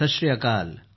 सत श्री अकाल